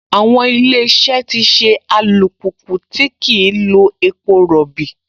Àwọn Ilé-iṣẹ́ ti ṣe alùpùpù tí kìí lo epo rọbì